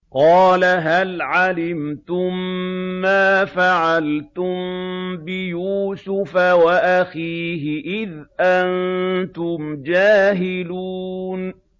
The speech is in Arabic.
قَالَ هَلْ عَلِمْتُم مَّا فَعَلْتُم بِيُوسُفَ وَأَخِيهِ إِذْ أَنتُمْ جَاهِلُونَ